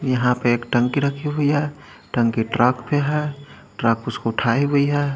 यहाँ पे एक टंकी रखी हुए है टंकी ट्रक पे है ट्रक उसको उठाये हुई है।